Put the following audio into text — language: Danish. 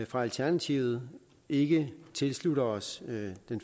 fra alternativet ikke tilslutter os det